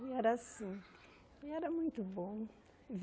E era assim, e era muito bom.